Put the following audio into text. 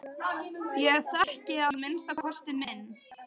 Ég þekki að minnsta kosti minn.